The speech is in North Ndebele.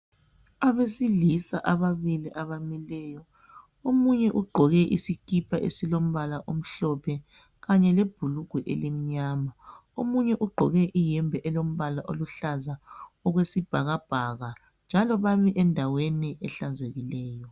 Abesilisa ababili abamileyo, omunye ugqoke isikipa esilombala omhlophe kanye lebhulugwa elimnyama. Omunye ugqoke iyembe elombala oluhlaza okwesibhakabhaka njalo bami endaweni ehlanzekileyo.